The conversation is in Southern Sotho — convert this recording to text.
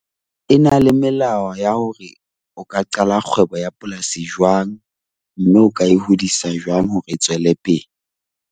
E na le melao ya hore o ka qala kgwebo ya polasi jwang mme o ka e hodisa jwang hore e tswellepele.